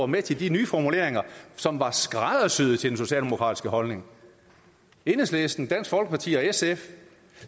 med til de nye formuleringer som var skræddersyet til den socialdemokratiske holdning i enhedslisten dansk folkeparti og sf